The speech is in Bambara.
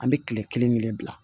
An bɛ kile kelen kelen bila